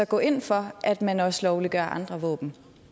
gå ind for at man også lovliggør andre våben